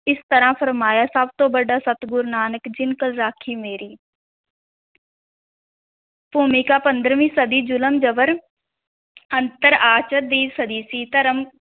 ਇਸ ਤਰ੍ਹਾਂ ਫਰਮਾਇਆ, ਸਭ ਤੋਂ ਵੱਡਾ ਸਤਿਗੁਰੁ ਨਾਨਕ, ਜਿਨਿ ਕਲ ਰਾਖੀ ਮੇਰੀ ਭੂਮਿਕਾ, ਪੰਦਰ੍ਹਵੀਂ ਸਦੀ ਜ਼ੁਲਮ-ਜ਼ਬਰ ਦੀ ਸਦੀ ਸੀ, ਧਰਮ